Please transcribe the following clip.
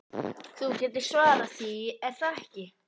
Þú getur svarað því, er það ekki?